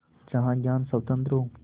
जहाँ ज्ञान स्वतन्त्र हो